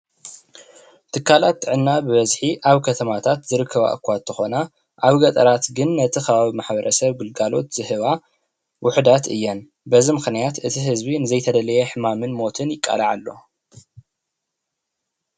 ትካላት ጥዕና ብበዝሒ ኣብ ከተማታት ዝርከባ እካ እንተኮና ኣብ ገጠራት ግን ነቲ ከባቢ ማሕበረሰብ ግልጋሎት ዝህባ ውሕዳት እየን ። በዚ ምክንያት እቲ ህዝቢ ንዘይተደለየ ሕማምን ሞትን ይቃላዕ ኣሎ፡፡